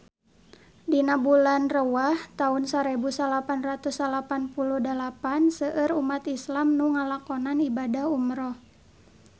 Dina bulan Rewah taun sarebu salapan ratus salapan puluh dalapan seueur umat islam nu ngalakonan ibadah umrah